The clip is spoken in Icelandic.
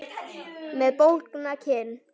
Með bólgna kinn.